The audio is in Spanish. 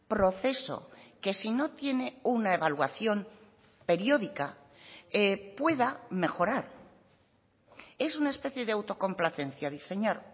proceso que si no tiene una evaluación periódica pueda mejorar es una especie de autocomplacencia diseñar